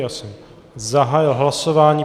Já jsem zahájil hlasování.